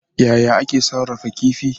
Yaya ake sarrafa kifi?